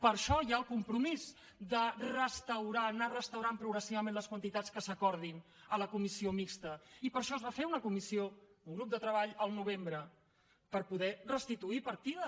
per això hi ha el compromís de restaurar anar restaurant progressivament les quantitats que s’acordin a la comissió mixta i per això es va fer una comissió un grup de treball al novembre per poder restituir partida